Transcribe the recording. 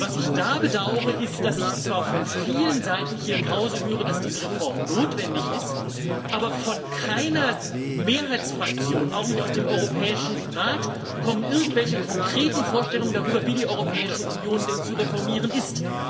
Und was ich da bedaure, ist, dass ich zwar von vielen Seiten hier im Hause höre, dass diese Reform notwendig ist, aber von keiner Mehrheitsfraktion, auch nicht aus dem Europäischen Rat, kommen irgendwelche konkreten Vorstellungen darüber, wie die Europäische Union denn zu reformieren ist.